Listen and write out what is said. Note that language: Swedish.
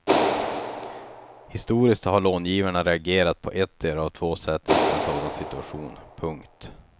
Historiskt har långivarna reagerat på ettdera av två sätt inför en sådan situation. punkt